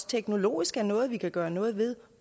teknologisk er noget vi kan gøre noget ved